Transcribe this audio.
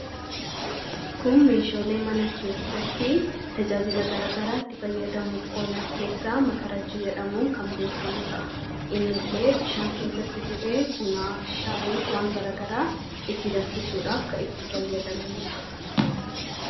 kun meeshoolee mana keessatti tajaajila garagaraa itti fayyadamuuf oolan keessaa makarajji jedhamuun kan beekamu ta'a. inni illee bishaan keessatti bu'ee bunaaf shaayiif waan garagaraa itti damfisuudhaaf kan itti fayyadamnuudha.